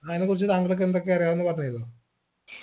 അതിന കുറിച്ച് താങ്കൾക്ക് എന്തൊക്കെ അറിയാം അതൊന്ന് പറഞ്ഞെരുവോ